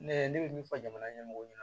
Ne ne bɛ min fɔ jamana ɲɛmɔgɔw ye